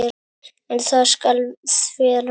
En það skal þvera.